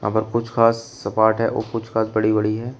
और कुछ घास सपाट है और कुछ घास बड़ी बड़ी है।